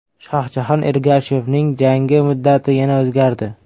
Shohjahon Ergashevning jangi muddati yana o‘zgardi.